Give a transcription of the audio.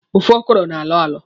Ofe ọkọrọ na-alọ alọ.